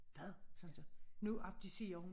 Hvad sagde han så nu abdicerer hun